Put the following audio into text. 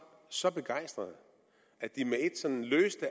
så begejstrede at de med ét sådan løste